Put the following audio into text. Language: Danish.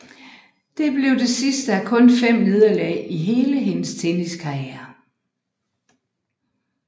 Det blev det sidste af kun fem nederlag i hele hendes tenniskarriere